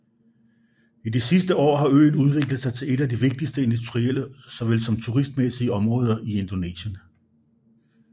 I de sidste år har øen udviklet sig til et af de vigtigste industrielle såvel som turistmæssige områder i Indonesien